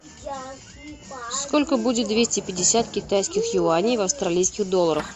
сколько будет двести пятьдесят китайских юаней в австралийских долларах